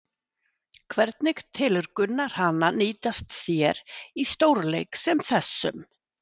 Hvernig telur Gunnar hana nýtast sér í stórleik sem þessum?